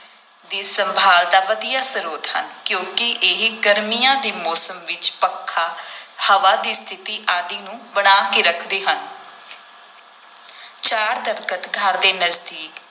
ਦੀ ਸੰਭਾਲ ਦਾ ਵਧੀਆ ਸਰੋਤ ਹਨ ਕਿਉਂਕਿ ਇਹ ਗਰਮੀਆਂ ਦੇ ਮੌਸਮ ਵਿਚ ਪੱਖਾ, ਹਵਾ ਦੀ ਸਥਿਤੀ ਆਦਿ ਨੂੰ ਬਣਾ ਕੇ ਰੱਖਦੇ ਹਨ ਚਾਰ ਦਰੱਖਤ ਘਰ ਦੇ ਨਜ਼ਦੀਕ